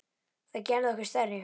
Það gerði okkur stærri.